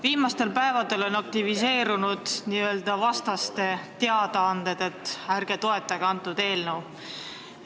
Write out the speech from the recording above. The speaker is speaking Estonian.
Viimastel päevadel on aktiviseerunud n-ö vastaste teadaanded, et ärge toetage antud eelnõu.